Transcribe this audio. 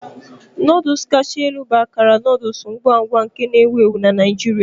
Noodles kacha elu bụ akara noodle ngwa ngwa na-ewu ewu na Naijiria.